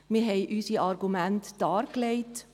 wir haben unsere Argumente dargelegt.